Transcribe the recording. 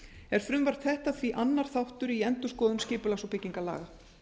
er frumvarp þetta því annar þáttur í endurskoðun skipulags og byggingarlaga